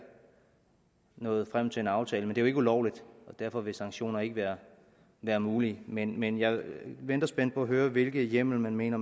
nået frem til en aftale men det er jo ikke ulovligt og derfor vil sanktioner ikke være være muligt men men jeg venter spændt på at høre hvilken hjemmel man mener